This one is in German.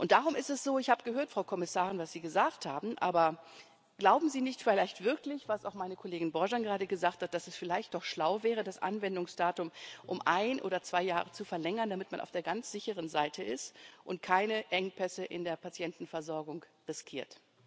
Und darum ist es so ich habe gehört, Frau Kommissarin, was Sie gesagt haben. Aber glauben Sie nicht vielleicht wirklich was auch meine Kollegin Borzan gerade gesagt hat dass es vielleicht doch schlau wäre, das Anwendungsdatum um ein oder zwei Jahre zu verlängern, damit man auf der ganz sicheren Seite ist und keine Engpässe in der Patientenversorgung riskiert?